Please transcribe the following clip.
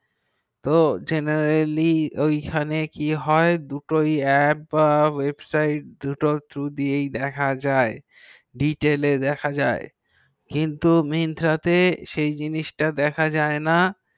ও generali ওই খানে কি হয় দুটো অ্যাপ থ্রু দিয়ে দেখা যাই কিন্তু ডিটেল এ দেখা যাই কিন্তু myntra তে সেই জিনিস গুলো দেখা যাই না